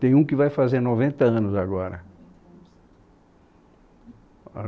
Tem um que vai fazer noventa anos agora.